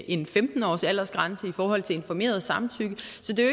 en femten årsaldersgrænse i forhold til informeret samtykke så det er